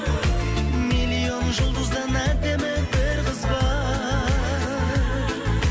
миллион жулдыздан әдемі бір қыз бар